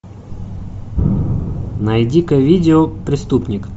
найди ка видео преступник